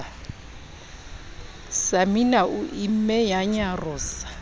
samina o imme ya nyarosa